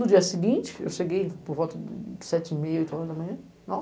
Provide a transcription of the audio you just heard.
No dia seguinte, eu cheguei por volta de sete e meia, oito horas da manhã.